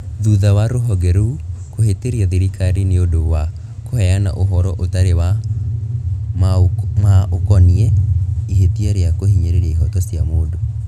Thutha wa rũhonge rũu kũhĩtĩria thirikari nĩ ũndũ wa kũheana ũhoro ũtarĩ wa maũkoniĩ ihĩtia rĩa kũhinyĩrĩria ihoto cia mũndũ.